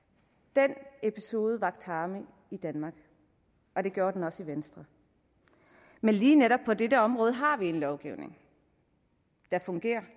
den episode vakte harme i danmark og det gjorde den også i venstre men lige netop på dette område har vi en lovgivning der fungerer